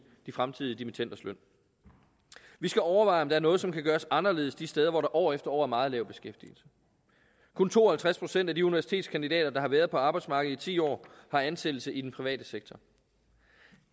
de fremtidige dimittenders løn vi skal overveje om der er noget som kan gøres anderledes de steder hvor der år efter år er meget lav beskæftigelse kun to og halvtreds procent af de universitetskandidater der har været på arbejdsmarkedet i ti år har ansættelse i den private sektor